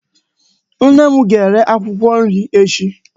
Nne m ga-ere akwụkwọ nri echi.